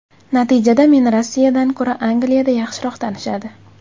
Natijada meni Rossiyadan ko‘ra Angliyada yaxshiroq tanishadi.